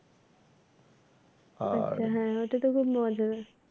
আচ্ছা হ্যাঁ ওইটা তো খুব মজার।